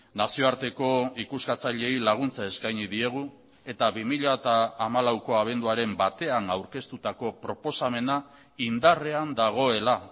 nazioarteko ikuskatzaileei laguntza eskaini diegu eta bi mila hamalauko abenduaren batean aurkeztutako proposamena indarrean dagoela